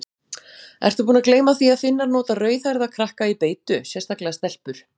Ertu búin að gleyma því að Finnar nota rauðhærða krakka í beitu, sérstaklega stelpur?